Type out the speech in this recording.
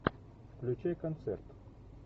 включай концерт